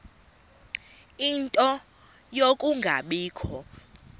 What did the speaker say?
ie nto yokungabikho